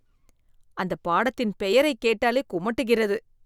அந்த பாடத்தின் பெயரைக் கேட்டாலே குமட்டுகிறது.